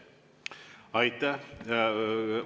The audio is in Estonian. Aitäh!